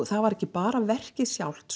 það var ekki bara verkið sjálft